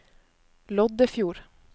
Loddefjord